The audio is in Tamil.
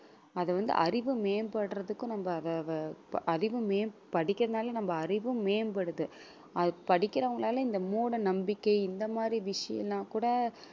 அதை வந்து அறிவு மேம்படுறதுக்கும் நம்ம அ~ அ~ அறிவு மேம்~ படிக்கிறதுனால நம்ம அறிவும் மேம்படுது அது படிக்கிறவங்களால இந்த மூடநம்பிக்கை இந்த மாதிரி விஷயம் எல்லாம் கூட